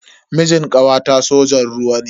Mijin kawata sojan ruwa ne.